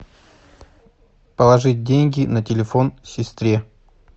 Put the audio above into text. положить деньги на телефон сестре